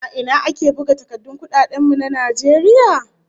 A ina ake buga takardun kudaden mu na Najeriya?